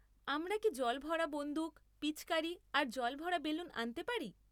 আমরা কি জল ভরা বন্দুক, পিচকারি আর জল ভরা বেলুন আনতে পারি?